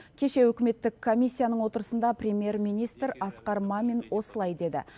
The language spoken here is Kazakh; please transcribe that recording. кеше үкіметтік комиссияның отырысында премьер министр асқар мамин осылай деді